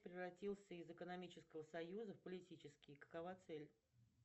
превратился из экономического союза в политический какова цель